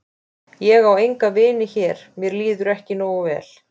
Ég á enga vini hér mér líður ekki nógu vel.